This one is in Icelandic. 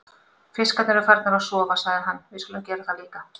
Fiskarnir eru farnir að sofa, sagði hann, við skulum gera það líka.